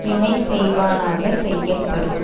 வினை செய்வானாக செய்யப்படும்